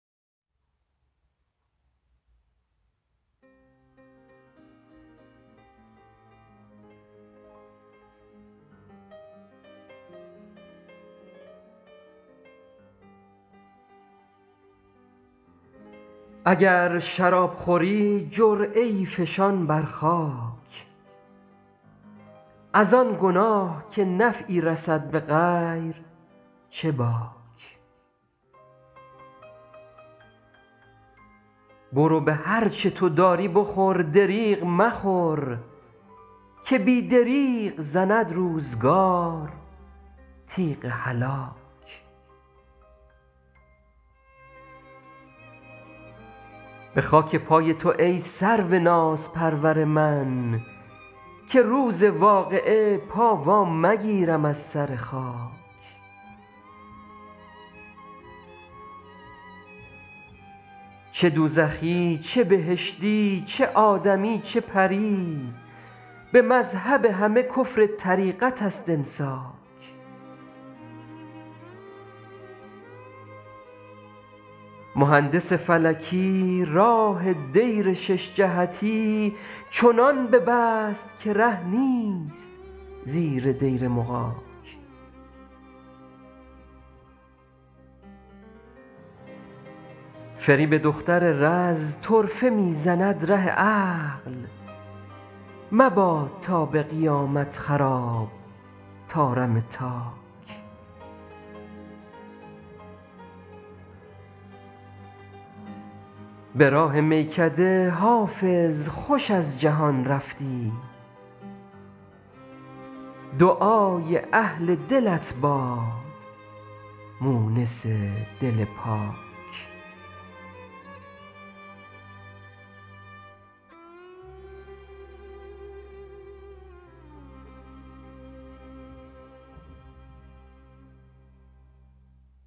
اگر شراب خوری جرعه ای فشان بر خاک از آن گناه که نفعی رسد به غیر چه باک برو به هر چه تو داری بخور دریغ مخور که بی دریغ زند روزگار تیغ هلاک به خاک پای تو ای سرو نازپرور من که روز واقعه پا وا مگیرم از سر خاک چه دوزخی چه بهشتی چه آدمی چه پری به مذهب همه کفر طریقت است امساک مهندس فلکی راه دیر شش جهتی چنان ببست که ره نیست زیر دیر مغاک فریب دختر رز طرفه می زند ره عقل مباد تا به قیامت خراب طارم تاک به راه میکده حافظ خوش از جهان رفتی دعای اهل دلت باد مونس دل پاک